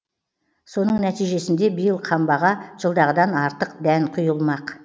соның нәтижесінде биыл қамбаға жылдағыдан артық дән құйылмақ